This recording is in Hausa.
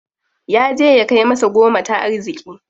Yaje ya kai masa goma ta arziki.